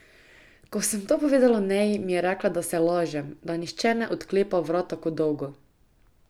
Ko sem to povedala Neji, mi je rekla, da se lažem, da nihče ne odklepa vrat tako dolgo.